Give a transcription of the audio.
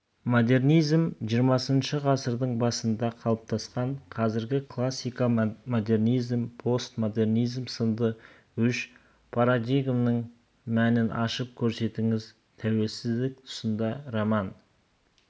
модернизм жиырмасыншы ғасырдың басында қалыптасқан қазіргі классика-модернизм-постмодернизм сынды үш парадигманың мәнін ашып көрсетіңіз тәуелсіздік тұсында роман